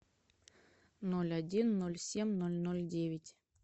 ноль один ноль семь ноль ноль девять